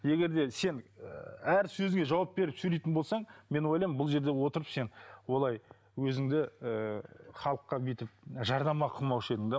егер де сен ііі әр сөзіңе жауап беріп сөйлейтін болсаң мен ойлаймын бұл жерде отырып сен олай өзіңді ііі халыққа бүйтіп жарнама қылмаушы едің де